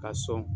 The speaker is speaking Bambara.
Ka sɔn